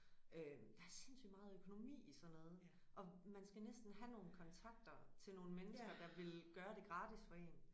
Øh der er sindssygt meget økonomi i sådan noget og man skal næsten have nogle kontakter til nogen mennesker der vil gøre det gratis for én